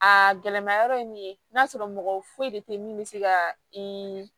A gɛlɛma yɔrɔ ye min ye n'a sɔrɔ mɔgɔ foyi de te min be se ka i